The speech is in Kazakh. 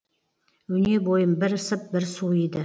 өне бойым бір ысып бір суиды